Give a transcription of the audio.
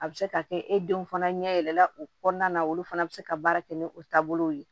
A bɛ se ka kɛ e denw fana ɲɛ yɛlɛla o kɔnɔna na olu fana bɛ se ka baara kɛ ni o taabolow ye